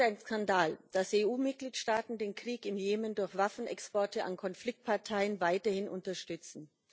Es ist ein Skandal, dass EU Mitgliedstaaten den Krieg im Jemen durch Waffenexporte an Konfliktparteien weiterhin unterstützen.